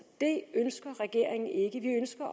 det ønsker regeringen ikke vi ønsker